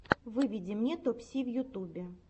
выведи мне топси в ютубе